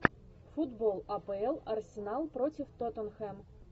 футбол апл арсенал против тоттенхэм